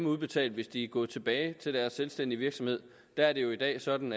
udbetalt hvis de er gået tilbage til deres selvstændige virksomhed der er det jo i dag sådan